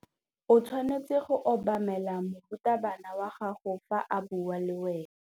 O tshwanetse go obamela morutabana wa gago fa a bua le wena.